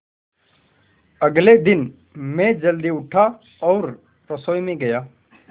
अगले दिन मैं जल्दी उठा और रसोई में गया